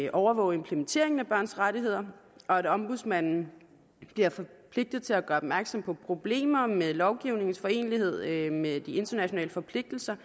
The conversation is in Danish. at overvåge implementeringen af børns rettigheder og at ombudsmanden bliver forpligtet til at gøre opmærksom på problemer med lovgivningens forenelighed med de internationale forpligtelser